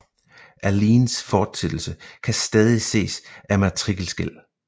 Alleens fortsættelse kan stadig ses af matrikelskel